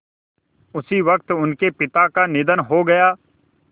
उसी वक़्त उनके पिता का निधन हो गया